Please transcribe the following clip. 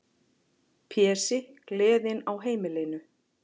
Pési, gleðin á heimilinu.